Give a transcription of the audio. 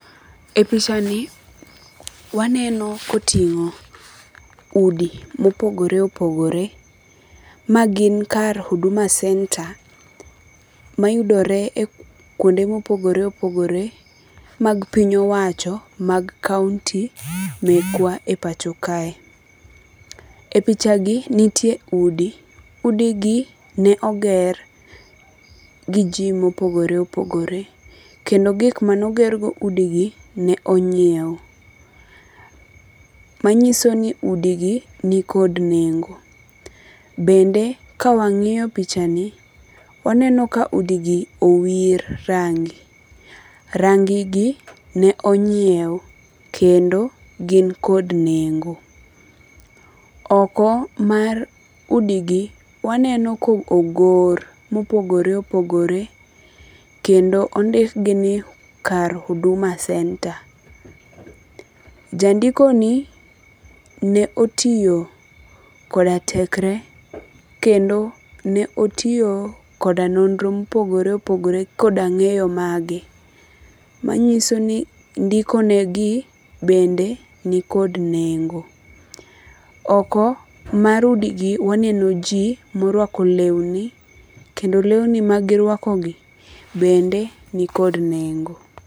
E picha ni waneno koting'o udi mopogore opogore. Magin kar Huduma Center mayudore e kuonde mopogore opogore mag piny owacho mag Kaunti mekwa e pacho kae. E picha gi nitie udi. Udi gi ne oger gi ji mopogore opogore. Kendo gik mane oger go udi gi ne onyiew. Ma nyiso ni udi gi ni kod nengo. Bende ka wang'iyo picha ni, waneno ka udi gi owir rangi. Rangi gi ne onyiew kendo gin kod nengo. Oko mar udi gi, waneno ko ogor mopogore opogore kendo ondik gi ni kar Huduma Center. Jandiko ni ne otiyo koda tekre kendo ne otiyo koda nonro mopogore opogore koda ng'eyo mage. Manyiso ni ndikonegi bende ni kod nengo. Oko mar udi gi waneno ji morwako lewni. Kendo lewni magirwakogi bende ni kod nengo.